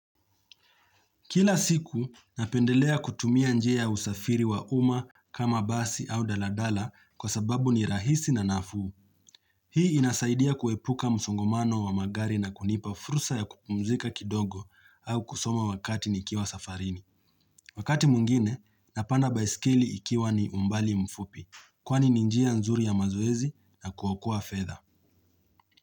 Kila siku, napendelea kutumia njia usafiri wa uma kama basi au daladala kwa sababu ni rahisi na nafuu. Hii inasaidia kuepuka msongomano wa magari na kunipa furusa ya kupumzika kidogo au kusoma wakati nikiwa safarini. Wakati mungine, napanda baisikili ikiwa ni umbali mfupi kwani ninjia nzuri ya mazoezi na kuwokoa fedha.